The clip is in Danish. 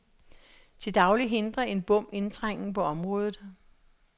Til daglig hindrer en bom indtrængen på området.